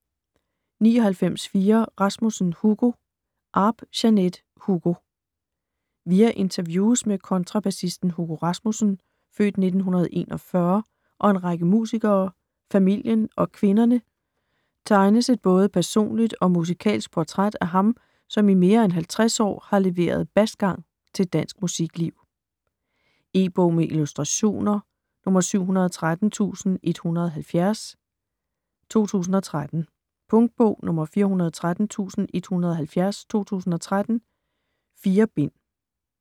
99.4 Rasmussen, Hugo Arp, Jeanette: Hugo Via interviews med kontrabassisten Hugo Rasmussen (f. 1941) og en række musikere, familien og kvinderne tegnes et både personligt og musikalsk portræt af ham, som i mere end 50 år har leveret basgang til dansk musikliv. E-bog med illustrationer 713170 2013. Punktbog 413170 2013. 4 bind.